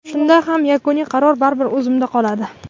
Shunda ham yakuniy qaror baribir o‘zimda qoladi.